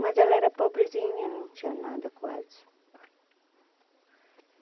Mas ela era pobrezinha, não tinha nada quase.